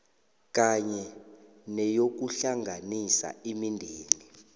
kanye neyokuhlanganisa imindeni